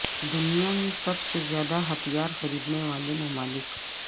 دنیا میں سب سے زیادہ ہتھیار خریدنے والے ممالک